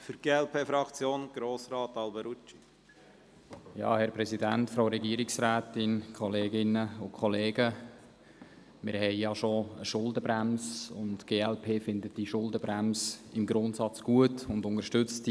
Wir haben bereits eine Schuldenbremse, und die glp findet diese Schuldenbremse im Grundsatz gut und unterstützt sie.